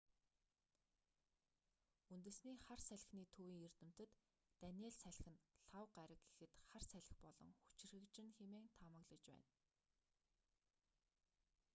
үндэсний хар салхины төвийн эрдэмтэд даниелл салхи нь лхагва гараг гэхэд хар салхи болон хүчирхэгжинэ хэмээн таамаглаж байна